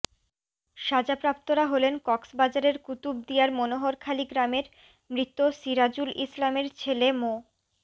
সাজাপ্রাপ্তরা হলেন কক্সবাজারের কুতুবদিয়ার মনোহরখালি গ্রামের মৃত সিরাজুল ইসলামের ছেলে মো